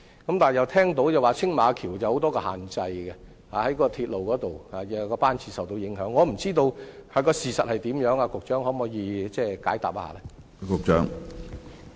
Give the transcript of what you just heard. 但是，有說青馬大橋有很多限制，鐵路方面的班次又受到某些因素所影響，我不知道事實是怎樣，局長可否解答一下？